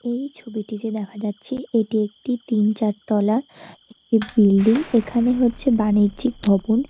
এই ছবিটিতে দেখা যাচ্ছে এটি একটি তিন চার তলা একটি এখানে হচ্ছে বাণিজ্যিক ভবন।